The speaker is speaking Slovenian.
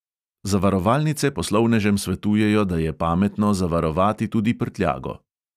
Zavarovalnice poslovnežem svetujejo, da je pametno zavarovati tudi prtljago.